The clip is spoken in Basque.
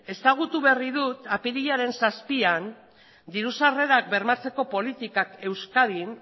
ezagutu berri dut apirilaren zazpian diru sarrerak bermatzeko politikak euskadin